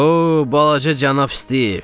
O, balaca cənab Stiv!